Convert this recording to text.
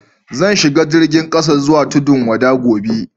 Zan shiga jirigin kasa zuwa Tudun-wada gobe.